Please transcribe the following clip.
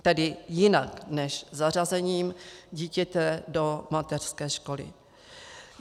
Tedy jinak než zařazením dítěte do mateřské školy.